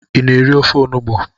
I na-eri ofe onugbo?